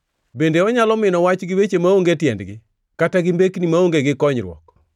Bende onyalo mino wach gi weche maonge tiendgi, kata gi mbekni maonge gi konyruok?